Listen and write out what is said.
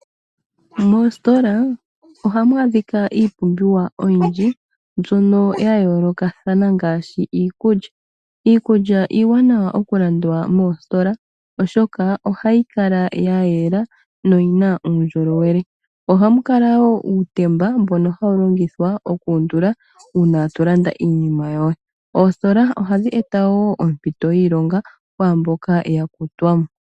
Moositola ohamu adhikwa iipumbiwa oyindji mbyoka ya yoolokathana ngaashi iilulya. Iikulya iiwanawa okulandwa moositola oshoka ohayi kala ya yela noyina uundjolowele. Ohamu kala woo uutemba mbono hawu longithwa okuundula uuna tolanda iinima yoye. Oositola ohadhi eta woo oompito dhiilonga kwaamboka ya kutwa mo.